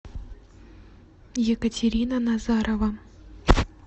екатерина назарова